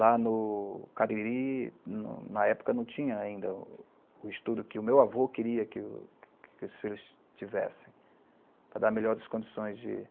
Lá no cariri, no na época, não tinha ainda o estudo que o meu avô queria que o que os filhos tivessem, para melhores condições, de